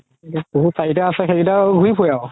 পহু চাৰিটা আছে সেই কেইটা আৰু ঘুৰি ফুৰে